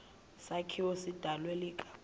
sakhiwo sidalwe ikakhulu